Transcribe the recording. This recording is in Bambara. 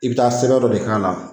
I bɛ taa sɛbɛ dɔ de k'a la.